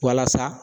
Walasa